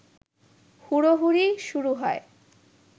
হুড়োহুড়ি শুরু হয়